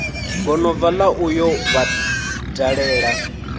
gonobva la u yo vhadalela